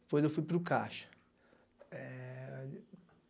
Depois eu fui para o Caixa.